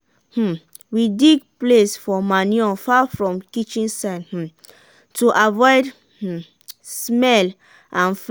um we dig place for manure far from kitchen side um to avoid um smell and fly.